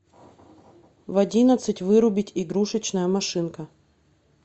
в одиннадцать вырубить игрушечная машинка